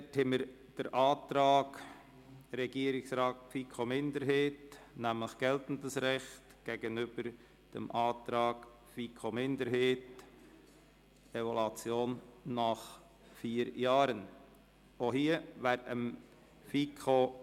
Dort haben wir den Antrag Regierungsrat/ FiKo-Mehrheit – geltendes Recht –, den wir dem Antrag FiKo-Minderheit – Evaluation nach vier Jahren – gegenüberstellen.